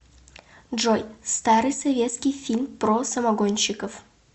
джой старый советский фильм про самогонщиков